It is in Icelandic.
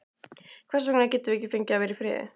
Hvers vegna getum við ekki fengið að vera í friði?